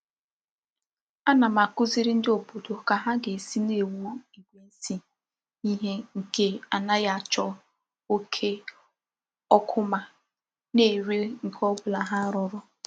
Ana m akuziri ndi obodo ka ha ga-esi na-ewu igwe nsi ihe nke anaghi acho oke okuma na-ere nke obula ha ruru.